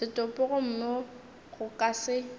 setopo gomme go ka se